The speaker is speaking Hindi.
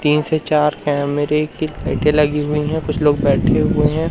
तीन से चार कैमरे की लाइटें लगी हुई हैं कुछ लोग बैठे हुए हैं।